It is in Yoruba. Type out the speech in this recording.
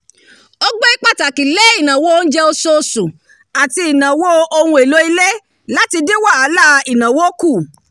ó gbé pàtàkì lé ìnáwó oúnjẹ oṣooṣù àti ìnáwó ohun èlò ilé láti dín wàhálà ìnáwó kù